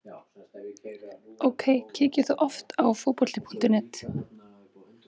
OK Kíkir þú oft á Fótbolti.net?